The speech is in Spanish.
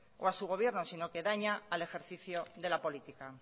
y a su gobierno sino que daña al ejercicio de la política